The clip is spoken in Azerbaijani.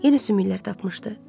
Yenə sümüklər tapmışdı.